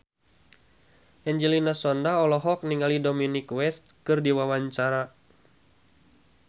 Angelina Sondakh olohok ningali Dominic West keur diwawancara